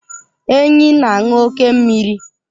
Enyí na-aṅụ oke mmiri.